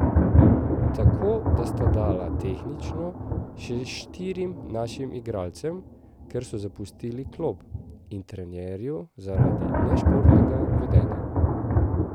Tako da sta dala tehnično še štirim našim igralcem, ker so zapustili klop, in trenerju zaradi nešportnega vedenja.